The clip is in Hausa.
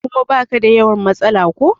kuma ba ka da yawan matsala ko?